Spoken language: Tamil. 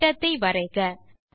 ஒரு வட்டத்தை வரைக